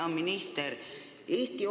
Hea minister!